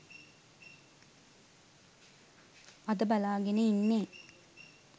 අද බලාගෙන ඉන්නේ